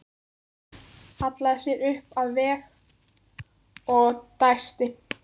Hallaði sér upp að vegg og dæsti.